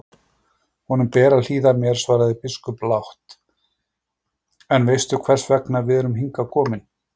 Honum ber að hlýða mér, svaraði biskup lágt,-en veistu hvers vegna við erum hingað komnir?